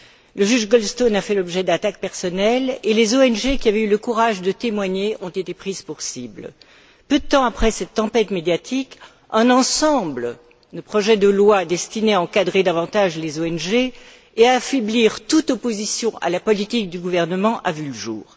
Le juge Goldstone a fait l'objet d'attaques personnelles et les ONG qui avaient eu le courage de témoigner ont été prises pour cible. Peu de temps après cette tempête médiatique, un ensemble de projets de loi destinés à encadrer davantage les ONG et à affaiblir toute opposition à la politique du gouvernement a vu le jour.